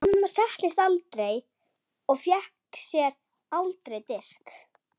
Amma settist aldrei og hún fékk sér aldrei disk.